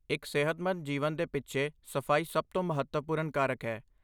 ਇੱਕ ਸਿਹਤਮੰਦ ਜੀਵਨ ਦੇ ਪਿੱਛੇ ਸਫਾਈ ਸਭ ਤੋਂ ਮਹੱਤਵਪੂਰਨ ਕਾਰਕ ਹੈ।